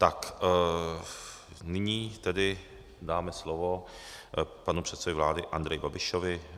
Tak nyní tedy dáme slovo panu předsedovi vlády Andreji Babišovi.